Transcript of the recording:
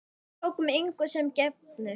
Við tókum engu sem gefnu.